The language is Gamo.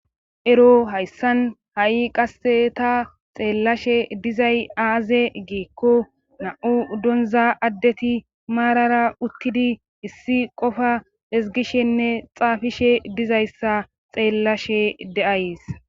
Ero hayssan ha7i qasse ta xeellashe dizay aaze geekko na7u donza addeti maarara uttidi issi qofa esgishenne xaafishe dizayssa xeellashe de7ays.